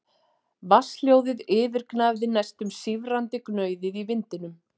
Vatnshljóðið yfirgnæfði næstum sífrandi gnauðið í vindinum.